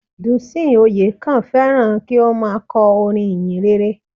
Dùnsìn Oyèkán féràn kí ó má a korin ìhìnrere